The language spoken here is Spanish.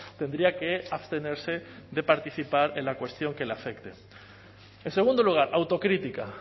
tendría que abstenerse de participar en la cuestión que le afecte en segundo lugar autocrítica